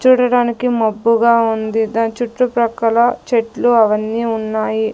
చూడడానికి మబ్బుగా ఉంది దాని చుట్టు ప్రక్కల చెట్లు అవన్నీ ఉన్నాయి.